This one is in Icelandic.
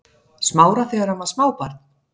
Smára þegar hann var smábarn?